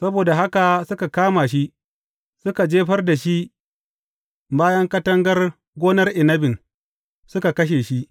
Saboda haka suka kama shi, suka jefar da shi bayan katangar gonar inabin, suka kashe shi.